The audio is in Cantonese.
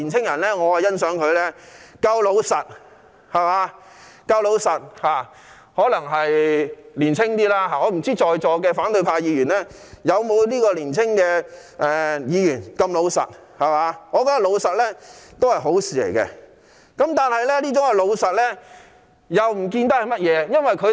我很欣賞這位年青人夠老實，可能是他較年輕的緣故，我不知道在座的反對派議員是否也像這位年輕人般老實，而我認為老實是一件好事。